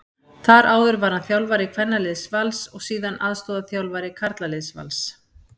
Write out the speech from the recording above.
Þar áður var hann þjálfari kvennaliðs Vals og síðar aðstoðarþjálfari karlaliðs Vals.